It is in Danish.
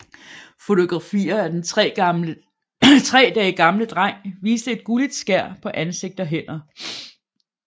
Fotografier af den tre dage gamle dreng viste et gulligt skær på ansigt og hænder